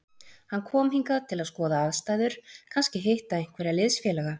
Hann kom hingað til að skoða aðstæður, kannski hitta einhverja liðsfélaga.